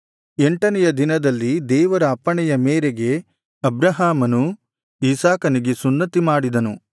ಎಂಟನೆಯ ದಿನದಲ್ಲಿ ದೇವರ ಅಪ್ಪಣೆಯ ಮೇರೆಗೆ ಅಬ್ರಹಾಮನು ಇಸಾಕನಿಗೆ ಸುನ್ನತಿ ಮಾಡಿದನು